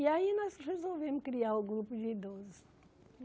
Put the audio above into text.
E aí nós resolvemos criar o grupo de idoso.